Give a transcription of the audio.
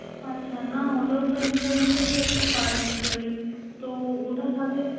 আচ্ছা, না ওটাওতো insurance ই একটা part actually তো ওটা থাকলে